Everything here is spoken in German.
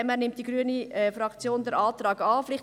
Deshalb nimmt die grüne Fraktion den Antrag an.